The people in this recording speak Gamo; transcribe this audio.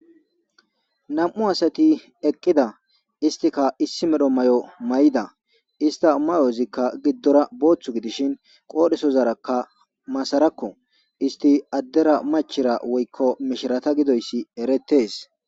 Nam7u asati eqqida istika issi medho may7o may7ida ista mayozikka giddora booththu gidishin qoodhesozarakka masarakko isti addera machira woykko mishirata gidoyssi erettees.